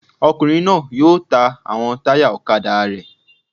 Ọkùnrin náà yóò ta àwọn táyà ọ̀kadà rẹ̀